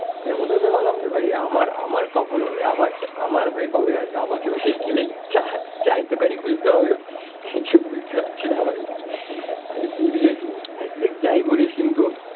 এরম হতে হতে ভাবলাম যে ভাই আমার, আমার কখন হবে? আমারটা আমার ভাই কবে আসবে? আমাকেও সেই কি লাইক চা চায়ের দোকানই খুলতে হবে? কিছু বুঝতে পারছি না ভাই, আমি সিরিয়াসলি ঠিক যাই বলিস কিন্তু,